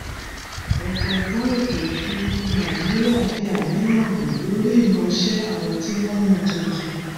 ọjọgbọn ètòòfùrúfú nàìjíríà fi àníyàn hàn lórí ìmọṣẹ àwọn tí wọn yàn tuntun